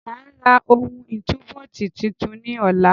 Máa ra ohun ìtúbóòtì tuntun ní ọ̀la.